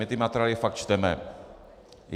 My ty materiály fakt čteme.